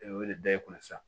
Ee wele da i kunna sisan